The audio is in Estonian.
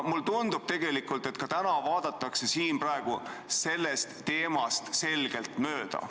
Mulle tundub tegelikult, et ka täna vaadatakse sellest teemast selgelt mööda.